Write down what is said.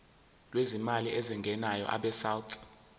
lwezimali ezingenayo abesouth